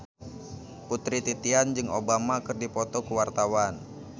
Putri Titian jeung Obama keur dipoto ku wartawan